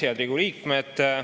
Head Riigikogu liikmed!